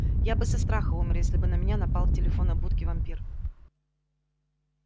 я бы со страха умер если бы на меня напал в телефонной будке вампир